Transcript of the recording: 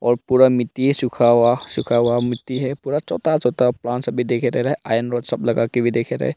पूरा मिट्टी है सुखा हुआ सुखा हुआ मिट्टी है पूरा छोता छोता पांस से सभी देख रहे आयरन रॉड सभी लगा करके देखे रेह रहे।